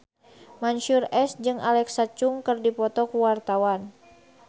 Mansyur S jeung Alexa Chung keur dipoto ku wartawan